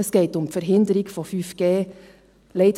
Es geht um die Verhinderung von 5G.